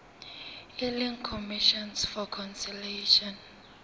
e leng commission for conciliation